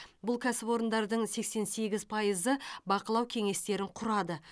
бұл кәсіпорындардың сексен сегіз пайызы бақылау кеңестерін құрады